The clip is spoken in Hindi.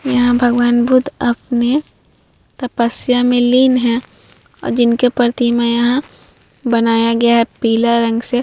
यहाँ भगवन बुध अपने तपस्या मै लीन है और जिनके प्रतिमा यहाँ बनाया गया है पीले रंग से--